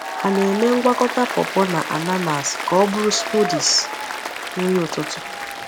Ha na-eme ngwakọta pawpaw na ananas ka ọ bụrụ smoothies nri ụtụtụ.